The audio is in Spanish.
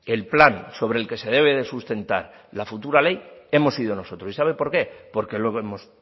el plan sobre el que se debe de sustentar la futura ley hemos sido nosotros y sabe por qué porque luego hemos